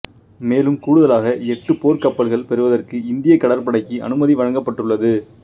மேலும் கூடுதலாக எட்டு போர்க்கப்பல்கள் பெறுவதற்கு இந்தியக் கடற்படைக்கு அனுமதி வழங்கப்பட்டுள்ளது